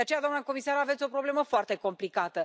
De aceea, doamna comisar, aveți o problemă foarte complicată.